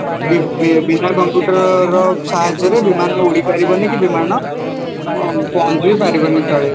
ବିନା computer ର ସାହାଯ୍ୟରେ ବିମାନ ଉଡି ପାରିବନି କି ବିମାନ ଅଂ ପହଁଚିବି ପାରିବନି ତଳେ